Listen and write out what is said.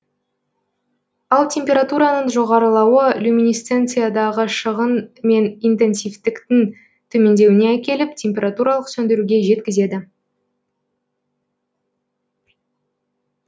ал температураның жоғарылауы люминесценциядағы шығын мен интенсивтіктің төмендеуіне әкеліп температуралық сөндіруге жеткізеді